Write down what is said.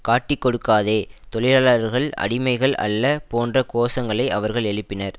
காட்டிக்கொடுக்காதே தொழிலாளர்கள் அடிமைகள் அல்ல போன்ற கோஷங்களை அவர்கள் எழுப்பினர்